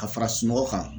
Ka fara sunɔgɔ kan